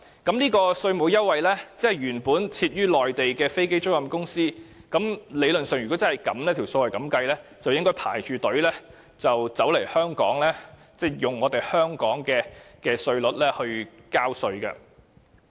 對於這個稅務優惠，如果理論上方程式是如此計算時，相信一些原本在內地設立的飛機租賃公司就會排隊來香港，以香港的稅率交稅了。